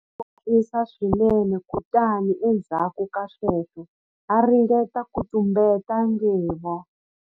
U nwile hi ku hatlisa swinene kutani endzhaku ka sweswo a ringeta ku tumbeta nghevo.